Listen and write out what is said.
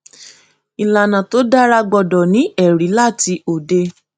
ìlànà tó dára gbọdọ ní ẹrí láti òde